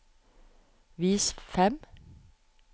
vis fem